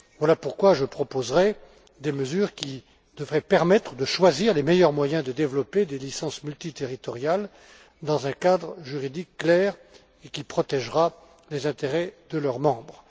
Voilà pourquoi je proposerai des mesures qui devraient permettre de choisir les meilleurs moyens de développer des licences multiterritoriales dans un cadre juridique clair et qui protégera les intérêts de leurs membres.